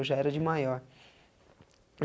Eu já era de maior.